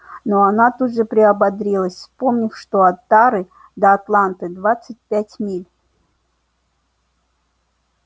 но она тут же приободрилась вспомнив что от тары до атланты двадцать пять миль